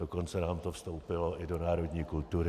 Dokonce nám to vstoupilo i do národní kultury.